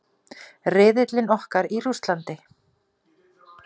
Riðillinn okkar í Rússlandi.